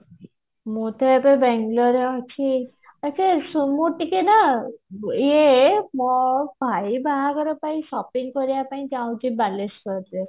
ମୁଁ ତ ଏବେ ବେଙ୍ଗେଲୋର ରେ ଅଛି ଆଛା ଶୁଣ ମୋର ଟିକେ ନା ଇଏ ମୋ ଭାଇ ବାହାଘର ପାଇଁ shopping କରିବା ପାଇଁ ଚାହୁଁଛି ବାଲେଶ୍ଵର ରୁ